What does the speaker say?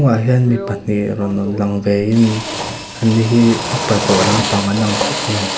ah hian mi pahnih rawn lang vein anni hi upa tawh lampang an ang khawp mai.